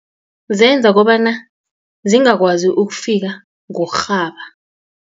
Zenza kobana zingakwazi ukufika ngokurhaba.